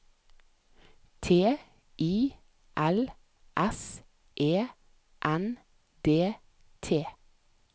T I L S E N D T